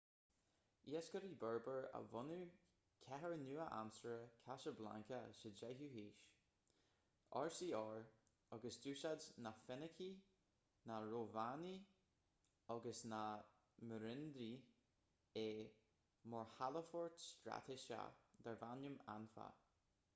iascairí berber a bhunaigh cathair nua-aimseartha casablanca sa 10ú haois rcr agus d'úsáid na féinicigh na rómhánaigh agus na meirinidí é mar chalafort straitéiseach darbh ainm anfa